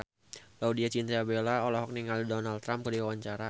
Laudya Chintya Bella olohok ningali Donald Trump keur diwawancara